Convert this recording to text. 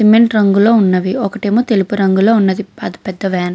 Cement రంగులో ఉన్నది. ఒకటేమో తెలుపు రంగులో ఉంది. పెద్ధ వేన్ --